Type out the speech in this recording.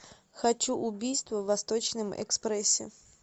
хочу убийство в восточном экспрессе